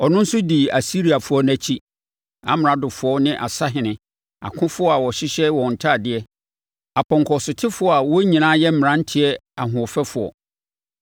Ɔno nso dii Asiriafoɔ no akyi; amradofoɔ ne asahene, akofoɔ a wɔhyehyɛ wɔn ntadeɛ, apɔnkɔsotefoɔ a wɔn nyinaa yɛ mmeranteɛ ahoɔfɛfoɔ.